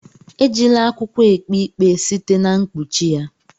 Ejila akwụkwọ ekpe ikpe site na mkpuchi ya.